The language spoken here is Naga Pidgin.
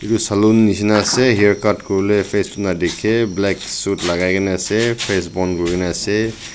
salon nishina ase haircut kori bole face tu na dekhe black suit lagai kena ase face bon kori kena ase.